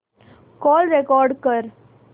call record कर